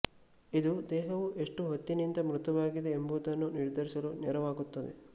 ಇದು ದೇಹವು ಎಷ್ಟು ಹೊತ್ತಿನಿಂದ ಮೃತವಾಗಿದೆ ಎಂಬುದನ್ನು ನಿರ್ಧರಿಸಲು ನೆರವಾಗುತ್ತದೆ